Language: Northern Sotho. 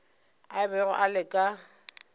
a bego a le ka